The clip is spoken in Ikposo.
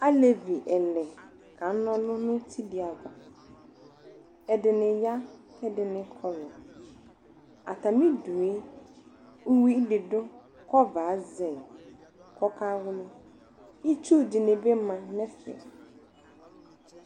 Aalevi ɛlɛ kanɔlʋnʋ nutidi ava, ɛɖini ya kʋ ɛdini,i kɔlu ,aatamiɖʋe ʋwui ɖi ɖʋ kʋ ɔvɛ azɛɣiɛ kʋlawlɣi iƒɣʋ ɖinibi ma nɛfɛ